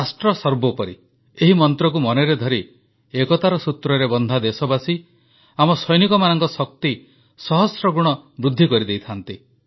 ରାଷ୍ଟ୍ର ସର୍ବୋପରି ଏହି ମନ୍ତ୍ରକୁ ମନରେ ଧରି ଏକତାର ସୂତ୍ରରେ ବନ୍ଧା ଦେଶବାସୀ ଆମ ସୈନିକମାନଙ୍କ ଶକ୍ତି ସହସ୍ରଗୁଣ ବୃଦ୍ଧି କରିଦେଇଥାନ୍ତି